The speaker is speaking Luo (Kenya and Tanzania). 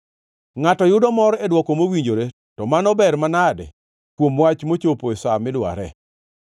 Ngʼato yudo mor e dwoko mowinjore, to mano ber manade kuom wach mochopo e sa midware.